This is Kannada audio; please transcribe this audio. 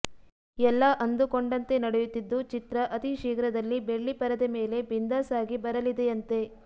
ಎಲ್ಲಾ ಅಂದುಕೊಂಡಂತೆ ನಡೆಯುತ್ತಿದ್ದು ಚಿತ್ರ ಅತಿ ಶೀಘ್ರದಲ್ಲಿ ಬೆಳ್ಳಿಪರದೆ ಮೇಲೆ ಬಿಂದಾಸ್ ಆಗಿ ಬರಲಿದೆಯಂತೆ